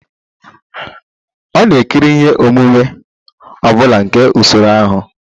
Ọ na-ekiri ihe omume ọ bụla nke usoro ahụ?